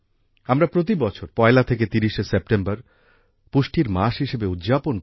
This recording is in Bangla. আমরা প্রতি বছর ১লা থেকে ৩০ সেপ্টেম্বর পুষ্টির মাস হিসেবে উদযাপন করি